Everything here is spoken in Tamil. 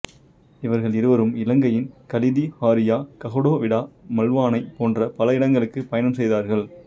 இவர்கள் இருவரும் இலங்கையின் காலிதிஹாரிய கஹடோவிட மல்வானை போன்ற பல இடங்களுக்கு பயணம் செய்தார்கள்